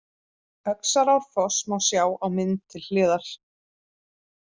Öxarárfoss má sjá á mynd til hliðar.